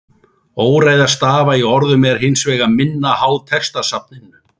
Óreiða stafa í orðum er hins vegar minna háð textasafninu.